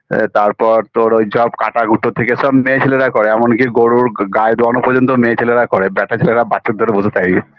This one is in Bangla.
আ তারপর তোর ঐ জব কাটাকুটা থেকে সব মেয়ে ছেলেরাই করে এমনকি গরুর গাই দুয়ান পর্যন্ত মেয়ে ছেলেরাই করে ব্যাটা ছেলেরা বাছুর ধরে বসে থাকে